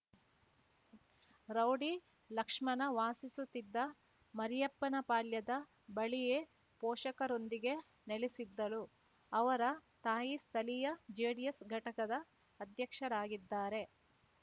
rowdy Lakshmana ವಾಸಿಸುತ್ತಿದ್ದ ಮರಿಯಪ್ಪನಪಾಳ್ಯದ ಬಳಿಯೇ ಪೋಷಕರೊಂದಿಗೆ ನೆಲೆಸಿದ್ದಳು ಅವರ ತಾಯಿ ಸ್ಥಳೀಯ ಜೆಡಿಎಸ್ ಘಟಕದ ಅಧ್ಯಕ್ಷರಾಗಿದ್ದಾರೆ